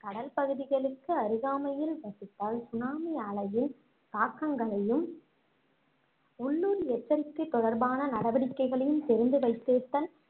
கடல் பகுதிகளுக்கு அருகாமையில் வசித்தால் சுனாமி அலையின் தாக்கங்களையும் உள்ளூர் எச்சரிக்கை தொடர்பான நடவடிக்கைகளையும் தெரிந்து வைத்திருத்தல்